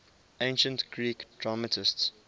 ancient greek dramatists